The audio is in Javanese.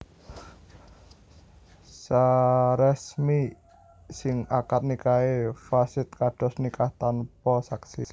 Saresmi sing akad nikahé fasid kados nikah tanpa saksi